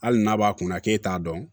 Hali n'a b'a kunna k'e t'a dɔn